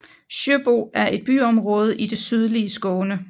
Sjöbo er et byområde i det sydlige Skåne